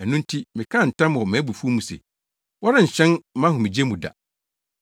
Ɛno nti mekaa ntam wɔ mʼabufuw mu se, ‘Wɔrenhyɛn mʼahomegye mu da.’ ”